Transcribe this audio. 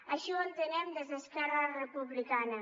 així ho entenem des d’esquerra republicana